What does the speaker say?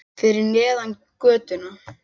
Fyrir neðan götuna.